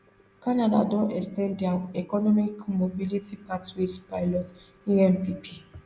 canada don ex ten d dia economic mobility pathways pilot empp